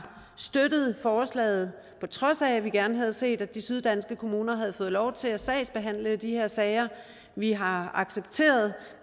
støttet forslaget på trods af at vi gerne havde set at de syddanske kommuner havde fået lov til at sagsbehandle de her sager vi har accepteret